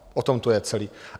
O tom to je celé.